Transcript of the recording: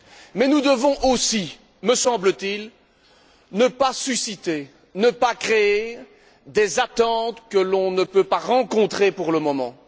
Mais nous devons aussi, me semble t il, ne pas susciter, ne pas créer des attentes que l'on ne peut pas satisfaire pour le moment.